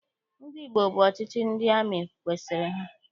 Ndị Igbo bụ ọchịchị ndị amị kwesiri ha.